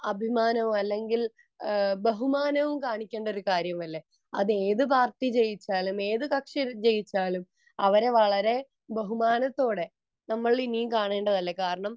അഭിമാനമോ അല്ലെങ്കിൽ ബഹുമാനവും കാണിക്കേണ്ട ഒരു കാര്യമല്ലേ അത് ഏത് പാർട്ടി ജയിച്ചാലും ഏത് കക്ഷി ജയിച്ചാലും അവരെ വളരെ ബഹുമാനത്തോടെ നമ്മൾ ഇനിയും കാണണ്ടതല്ലേ കാരണം